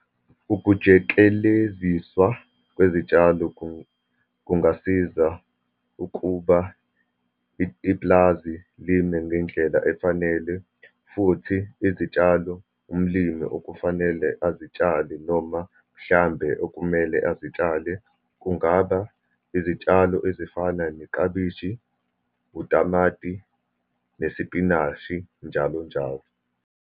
Ukujekeleziswa kwezitshalo kungasiza ukuba ipulazi lime ngendlela efanele, futhi izitshalo umlimi okufanele azitshali, noma mhlambe okumele uzitshale, kungaba izitshalo ezifana neklabishi, utamati, nesipinashi, njalo njalo.